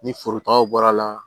Ni forotagaw bɔra la